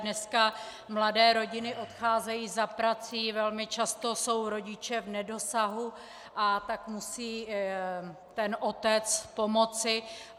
Dneska mladé rodiny odcházejí za prací, velmi často jsou rodiče v nedosahu, a tak musí ten otec pomoci.